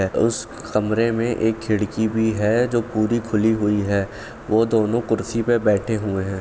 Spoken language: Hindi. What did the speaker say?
उस कमरे में एक खिड़की भी है जो पूरी खुली हुई है वो दोनों कुर्सी पे बैठे हुए है।